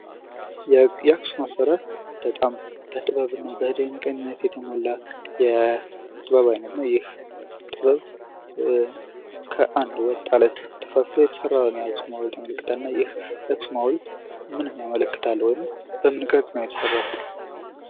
የአክሱም አሰራር በጣም በድንቅነት የተሞላ የጥበብ አይነት ነው ይህ ይህ ጥበብ ከአንድ ወጥተፈልፍሎ የተሰራ ነው ።የአክሱም ሀውልት ምንም ያመለክታል ወይም በምን ቅርጽ ነው የተሰራው?